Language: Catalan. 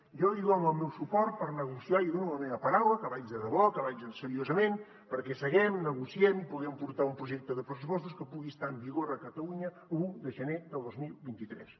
jo li dono el meu suport per negociar i li dono la meva paraula que vaig de debò que vaig seriosament perquè seguem negociem i puguem portar un projecte de pressupostos que pugui estar en vigor a catalunya l’un de gener de dos mil vint tres